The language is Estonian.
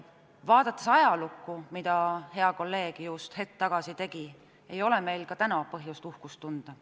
Vaadates ajalukku, mida hea kolleeg just hetk tagasi tegi, ei ole meil täna põhjust uhkust tunda.